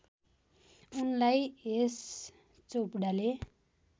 उनलाई यश चोपडाले